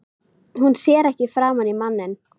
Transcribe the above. Hún sér ekki framan í manninn.